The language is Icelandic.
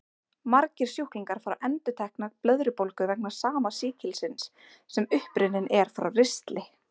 Margir sjúklingar fá endurtekna blöðrubólgu vegna sama sýkilsins, sem upprunninn er frá ristli.